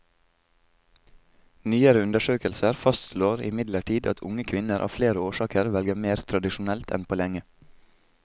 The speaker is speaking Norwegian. Nyere undersøkelser fastslår imidlertid at unge kvinner av flere årsaker velger mer tradisjonelt enn på lenge.